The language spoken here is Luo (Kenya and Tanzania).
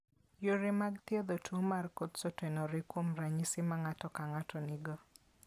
Yore mag thiedho tuo mar Coats otenore kuom ranyisi ma ng'ato ka ng'ato nigo.